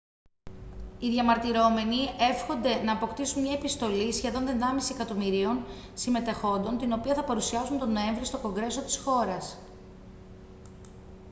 οι διαμαρτυρόμενοι εύχονται να αποκτήσουν μια επιστολή σχεδόν ενάμιση εκατομμυρίων συμμετεχόντων την οποία θα παρουσιάσουν τον νοέμβρη στο κογκρέσο της χώρας